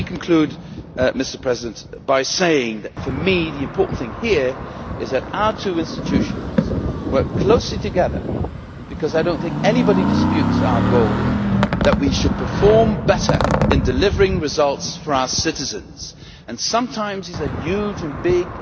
Let me conclude by saying that for me, the important thing here is that our two institutions work closely together, because I do not think anybody disputes our goal that we should perform better in delivering results for our citizens. Sometimes these are huge